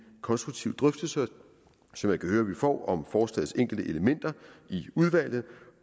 konstruktive drøftelser som jeg kan høre vi får om forslagets enkelte elementer i udvalgene